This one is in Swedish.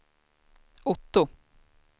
Otto